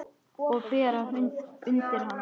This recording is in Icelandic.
Og bera undir hana.